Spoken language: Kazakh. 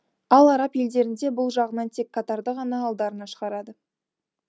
ал араб елдерінде бұл жағынан тек катарды ғана алдарына шығарады